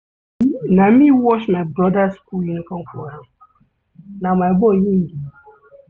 Na me wash my broda skool uniform for am, na my boy im be.